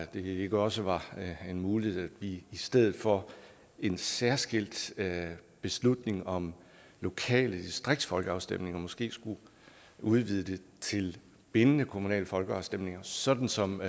det ikke også var en mulighed i stedet for en særskilt beslutning om lokale distriktsfolkeafstemninger måske at udvide det til bindende kommunale folkeafstemninger sådan som